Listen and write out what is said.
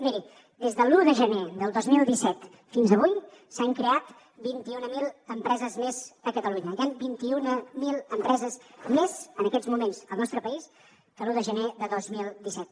miri des de l’un de gener del dos mil disset fins avui s’han creat vint i una mil empreses més a catalunya hi han vint i una mil empreses més en aquests moments al nostre país que l’un de gener de dos mil disset